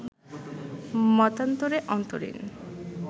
মতান্তরে অন্তরীণ